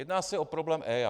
Jedná se o problém EIA.